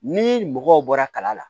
Ni mɔgɔw bɔra kala la